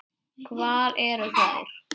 Hvar eru þær?